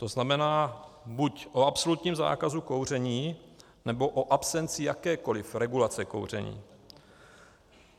To znamená, buď o absolutním zákazu kouření, nebo o absenci jakékoli regulace kouření.